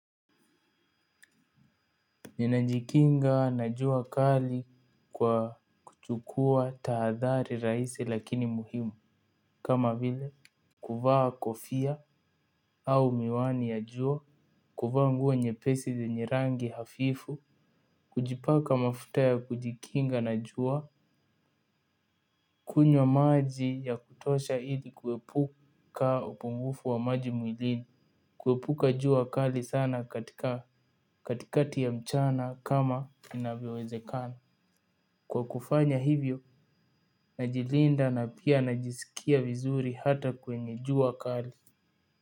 Ninajikinga na jua kali kwa kuchukua tahadhari rahisi lakini muhimu kama vile kuvaa kofia au miwani ya jua, kuvaa nguo nyepesi zenye rangi hafifu kujipaka mafuta ya kujikinga na jua, kunywa maji ya kutosha ili kuepuka upungufu wa maji mwilini. Kuepuka jua kali sana katika katikati ya mchana kama inavyowezekana. Kwa kufanya hivyo, najilinda na pia najisikia vizuri hata kwenye jua kali.